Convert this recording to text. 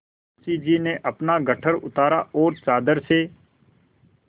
मुंशी जी ने अपना गट्ठर उतारा और चादर से